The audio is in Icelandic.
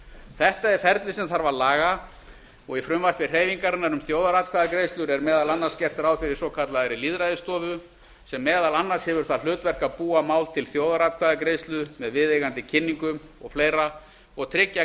þetta er ferli sem þarf að laga og í frumvarpi hreyfingarinnar um þjóðaratkvæðagreiðslur er meðal annars gert ráð fyrir svokallaðri lýðræðisstofu sem meðal annars hefur það hlutverk að búa mál til þjóðaratkvæðagreiðslu með viðeigandi kynningum og fleiri og tryggja